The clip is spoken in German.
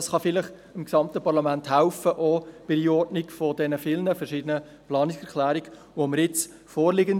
Dies kann vielleicht dem gesamten Parlament bei der Einordnung der vielen verschiedenen Planungserklärungen helfen, die jetzt vorliegen.